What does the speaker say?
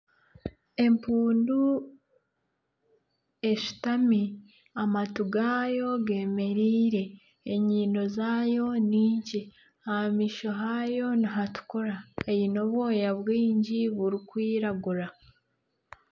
Empundu eshutami amatu gaayo gemereire enyindo zaayo nikye aha maisho haayo nihatukura eine obwooya bwingi oburikwiragura.